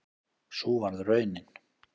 Sú varð raunin